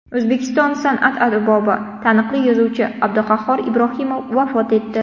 O‘zbekiston san’at arbobi, taniqli yozuvchi Abduqahhor Ibrohimov vafot etdi.